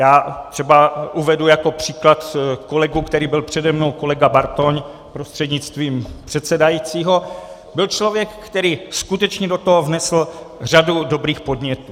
Já třeba uvedu jako příklad kolegu, který byl přede mnou, kolega Bartoň prostřednictvím předsedajícího, byl člověk, který skutečně do toho vnesl řadu dobrých podnětů.